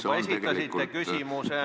Te juba esitasite küsimuse.